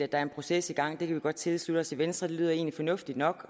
er en proces i gang på vi godt tilslutte os i venstre det lyder egentlig fornuftigt nok